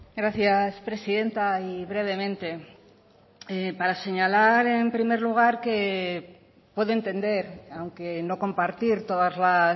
gracias presidenta y brevemente para señalar en primer lugar que puedo entender aunque no compartir todas las